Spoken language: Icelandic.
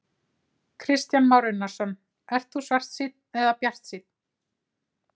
Kristján Már Unnarsson: Ert þú svartsýnn eða bjartsýnn?